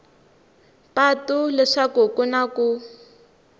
patu leswaku ku na ku